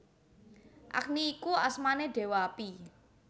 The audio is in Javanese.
Agni iku asmané Déwa Api